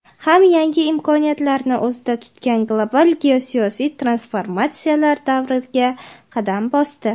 ham yangi imkoniyatlarni o‘zida tutgan global geosiyosiy transformatsiyalar davriga qadam bosdi.